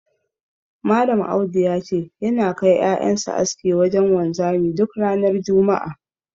Malam Audu ya ce, yana kai ƴaƴan sa aski wajen wanzami duk ranar juma'a.